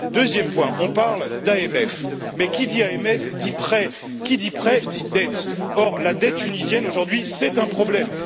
Deuxième point on parle d'AMF, mais qui dit AMF, dit prêt, qui dit prêt, dit dette, or la dette tunisienne, aujourd'hui, c'est un problème.